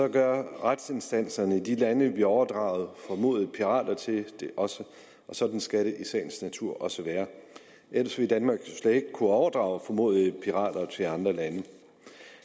gør retsinstanserne i de lande vi overdrager formodede pirater til det også og sådan skal det i sagens natur også være ellers ville danmark jo slet ikke kunne overdrage formodede pirater til andre lande